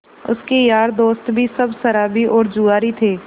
उसके यार दोस्त भी सब शराबी और जुआरी थे